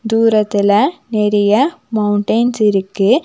தூரத்தில நெறைய மௌன்டெய்ன்ஸ் இருக்கு.